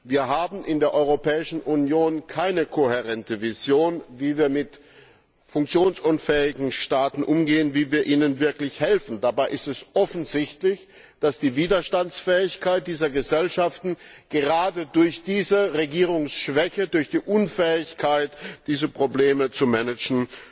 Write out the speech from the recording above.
Wir haben in der Europäischen Union keine kohärente Vision, wie wir mit funktionsunfähigen Staaten umgehen, wie wir ihnen wirklich helfen. Dabei ist es offensichtlich, dass die Widerstandsfähigkeit dieser Gesellschaften gerade durch diese Regierungsschwäche, durch die Unfähigkeit, diese Probleme zu managen,